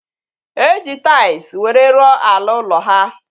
E ji tais were rụọ ala ụlọ ha